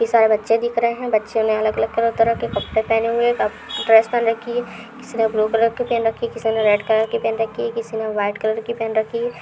सारे बच्चे दिख रहे हैं। बच्चों ने अलग-अलग कई तरह के कपड़े पहने हुए हैं ड्रेस पहन रखी है। किसी ने ब्लू कलर की पहन रखी किसी ने रेड कलर की पहन रखी है किसी ने व्हाइट कलर की पहन रखी है।